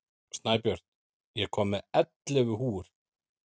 Snæbjört, ég kom með ellefu húfur!